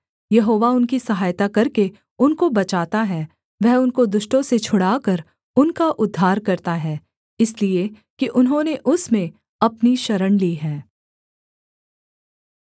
यहोवा उनकी सहायता करके उनको बचाता है वह उनको दुष्टों से छुड़ाकर उनका उद्धार करता है इसलिए कि उन्होंने उसमें अपनी शरण ली है